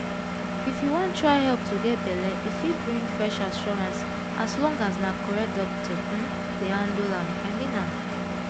if you wan try help to get belle e fit bring fresh assurance as long as na correct doctor um dey handle am i mean am